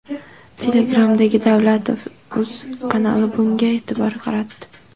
Telegram’dagi Davletovuz kanali bunga e’tibor qaratdi .